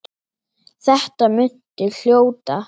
Þetta muntu hljóta.